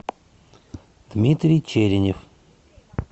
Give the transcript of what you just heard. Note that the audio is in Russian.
дмитрий черенев